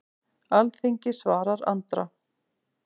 Alþingi svarar Andra